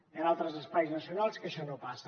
hi ha altres espais nacionals que això no passa